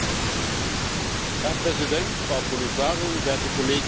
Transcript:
Herr Präsident, Frau Kommissarin, werte Kolleginnen und Kollegen!